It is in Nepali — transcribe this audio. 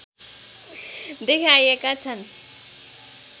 देखाइएका छन्